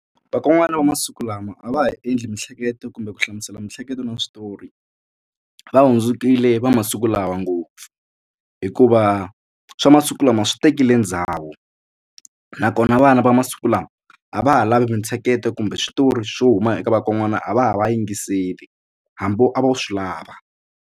Vakon'wana va masiku lama a va ha endli mihleketo kumbe ku hlamusela miehleketo na switori va hundzukile va masiku lawa ngopfu hikuva swa masiku lama swi tekile ndhawu nakona vana va masiku lama a va ha lavi mintsheketo kumbe switori swo huma eka vakon'wana a va ha va yingiseli hambi a vo swi lava.